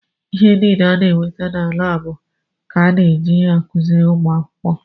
Ihe niile a na-enweta na laabụ ka a na-eji akụziri ụmụ akwụkwọ.